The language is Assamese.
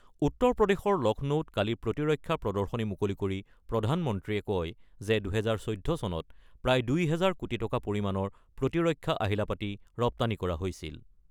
উত্তৰ প্ৰদেশৰ লক্ষ্ণৌত কালি প্ৰতিৰক্ষা প্ৰদৰ্শনী মুকলি কৰি প্ৰধানমন্ত্ৰীয়ে কয় যে ২০১৪ চনত প্ৰায় ২ হাজাৰ কোটি টকা পৰিমাণৰ প্ৰতিৰক্ষা আহিলা-পাতি ৰপ্তানি কৰা হৈছিল।